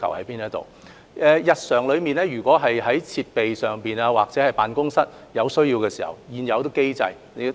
港台在日常運作中，如果對設施或辦公室有需要，政府會按現有機制處理。